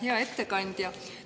Hea ettekandja!